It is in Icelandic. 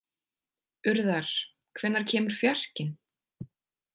Urðar, hvenær kemur fjarkinn?